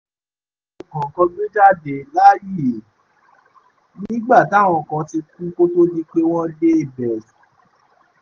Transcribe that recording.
gbé jáde láàyè nígbà táwọn kan ti kú kó tóó di pé wọ́n dé ibẹ̀